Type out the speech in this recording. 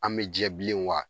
An bɛ jɛ bilen wa